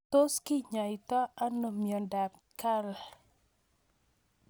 Tos kinyaita ano miondop Kyrle